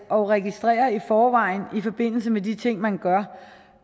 og registrere i forvejen i forbindelse med de ting man gør